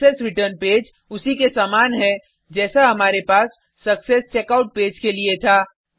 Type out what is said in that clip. success return page उसी के समान है जैसा हमारे पास सक्सेसचेकआउट पेज के लिए था